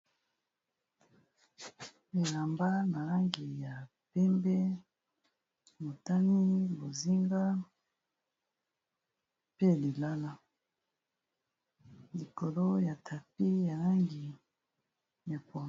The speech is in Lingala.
Bilamba na langi ya pembe, motane, bozinga, mpe ya lilala likolo ya tapi ya langi ya pondu.